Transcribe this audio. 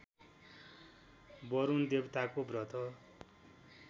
वरुण देवताको व्रत